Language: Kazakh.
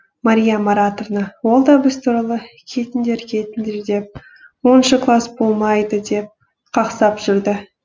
мария маратовна ол да біз туралы кетіңдер кетіңдер деп оныншы класс болмайды деп қақсап жүрді